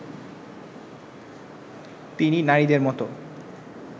তিনি নারীদের মতো